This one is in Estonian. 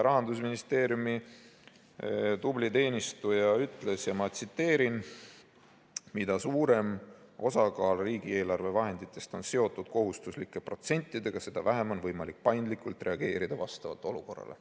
Rahandusministeeriumi tubli teenistuja ütles, ma tsiteerin: "Mida suurem osakaal riigieelarve vahenditest on seotud kohustuslike protsentidega, seda vähem on võimalik paindlikult reageerida vastavalt olukorrale.